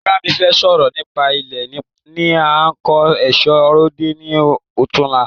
Ìyá mí fẹ sọ̀rọ̀ nípa ilé ní a tí ń kò èṣọ́ ròde ni ọ̀túnla